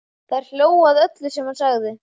Þær hlógu að öllu sem hann sagði.